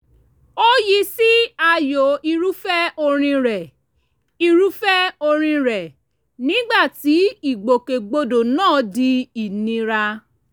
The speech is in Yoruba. ó yí sí ààyò irúfẹ́ orin rẹ̀ irúfẹ́ orin rẹ̀ nígbà tí ìgbòkègbodò náà di ìnira